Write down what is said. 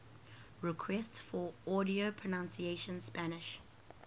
requests for audio pronunciation spanish